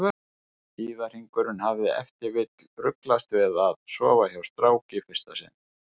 Tíðahringurinn hafi ef til vill ruglast við að sofa hjá strák í fyrsta sinn.